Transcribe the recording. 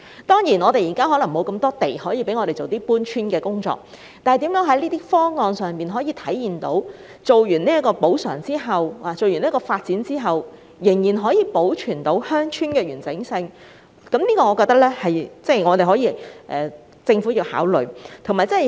當然，現在可能沒有那麼多土地可讓鄉村搬遷，但如何在發展方案上體現出在作出補償及完成發展後，仍可保存鄉村的完整性，是政府需要考慮的問題。